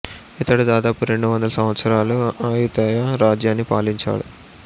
ఇతడు దాదాపు రెండు వందల సంవత్సరాలు అయుతయ రాజ్యాన్ని పాలించాడు